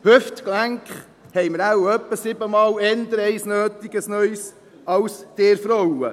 Ein neues Hüftgelenk haben wir wohl auch ungefähr siebenmal öfter nötig, als ihr Frauen.